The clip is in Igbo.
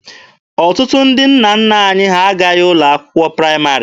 Ọtụtụ ndị nna nna anyị ha agaghị ụlọ akwụkwọ praịmarị.